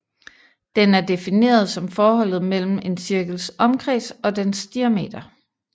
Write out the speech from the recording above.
Den er defineret som forholdet mellem en cirkels omkreds og dens diameter